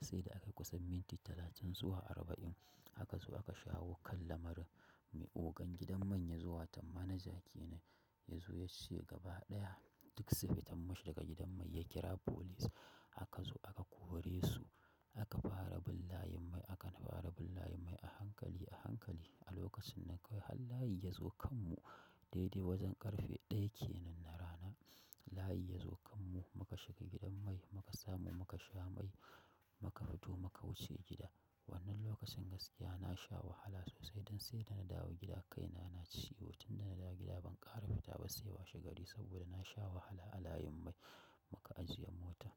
Sai da aka yi kusan minti talatin zuwa arba'in haka zo aka shawo kan lamarin mai ogan gidan man ya zo tan manager kenan ya zo ya ce gaba ɗaya duk su fita mashi daga gidan man ya kira police. Haka zu aka kore su aka fara bin layin mai aka fara bin layin mai a hankali a hankali. A lokacin nan kawai har layi ya zo kan mu dai dai wajen ƙarfe ɗaya kenan na rana layi ya zo kan mu muka shiga gidan mai muka samu muka sha mai muka fito muka wuce gida. Wannan lokacin gaskiya na sha wahala sosai don sai da na dawo gida kaina na ciwo tun da na dawo gida ban ƙara fita ba sai washe gari saboda na sha wahala a layin mai muka ajiye mota.